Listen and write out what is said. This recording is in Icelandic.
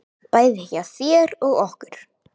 Bæði hjá þér og okkur.